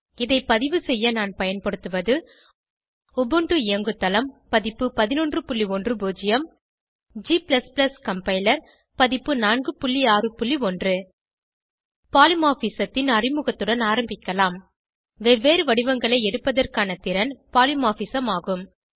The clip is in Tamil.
இதை பதிவுசெய்ய நான் பயன்படுத்துவது உபுண்டு இயங்குதளம் பதிப்பு 1110 g கம்பைலர் பதிப்பு 461 பாலிமார்பிசம் த்தின் அறிமுகத்துடன் ஆரம்பிக்கலாம் வெவ்வேறு வடிவங்களை எடுப்பதற்கான திறன் பாலிமார்பிசம் ஆகும்